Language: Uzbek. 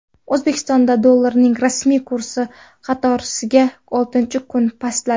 O‘zbekistonda dollarning rasmiy kursi qatorasiga oltinchi kun pastladi.